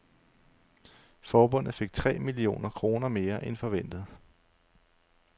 Forbundet fik tre millioner kroner mere end forventet.